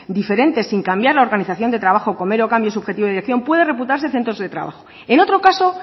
diferentes sin cambiar la organización de trabajo con mero cambio subjetivo y decía pueden computarse centros de trabajo en otro caso